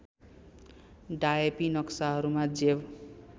डायेपी नक्साहरूमा जेव